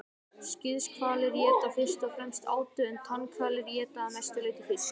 skíðishvalir éta fyrst og fremst átu en tannhvalir éta að mestu leyti fisk